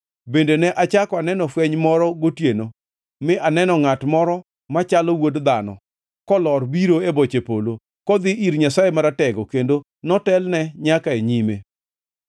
“Bende ne achako aneno fweny moro gotieno mi aneno ngʼat moro machalo wuod dhano kalor biro e boche polo, kodhi ir Nyasaye Maratego kendo notelne nyaka e nyime.